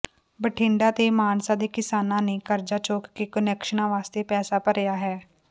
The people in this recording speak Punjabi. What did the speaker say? ਬਠਿੰਡਾ ਤੇ ਮਾਨਸਾ ਦੇ ਕਿਸਾਨਾਂ ਨੇ ਕਰਜ਼ਾ ਚੁੱਕ ਕੇ ਕੁਨੈਕਸ਼ਨਾਂ ਵਾਸਤੇ ਪੈਸਾ ਭਰਿਆ ਹੈ